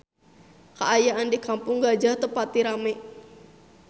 Kaayaan di Kampung Gajah teu pati rame